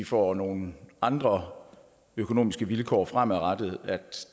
får nogle andre økonomiske vilkår fremadrettet at